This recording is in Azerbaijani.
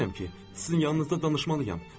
Bilirəm ki, sizin yanınızda danışmalıyım.